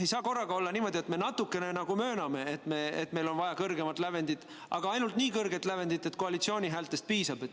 Ei saa olla niimoodi, et me natukene nagu mööname, et meil on vaja kõrgemat lävendit, aga ainult nii kõrget lävendit, et koalitsiooni häältest piisaks.